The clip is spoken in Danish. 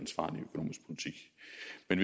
en